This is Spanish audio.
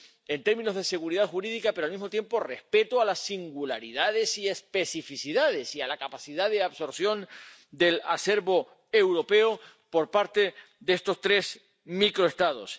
en términos de seguridad jurídica―, pero, al mismo tiempo, respeto a las singularidades y especificidades y a la capacidad de absorción del acervo europeo por parte de estos tres microestados.